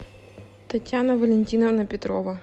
татьяна валентиновна петрова